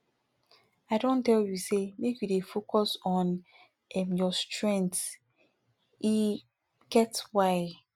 i don tell you sey make you dey focus on um your strengths e um get why